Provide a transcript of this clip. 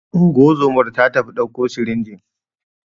Ungozomar ta tafi ɗauko sirinjin